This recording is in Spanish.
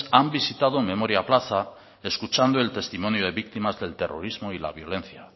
han visitado memoria plaza escuchando el testimonio de víctimas del terrorismo y la violencia